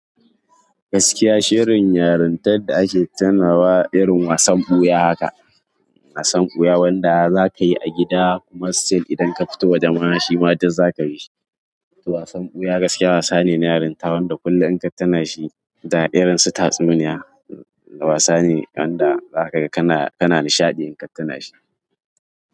Gaskiya shirin yarintar da ake tunawa, irin wasan ɓuya haka, wasan ɓuya wanda za ka yi a gida kuma still idan ka fito waje mashayi ma duz za ka yi shi. To wasan ɓuya gaskiya wasa ne na yarinta wanda kullum in ka tuna shi da irin tatsuniya, wasa ne wanda za ka ga kana nishaɗi in ka tuna shi.